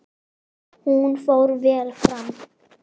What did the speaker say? Hún fór vel fram.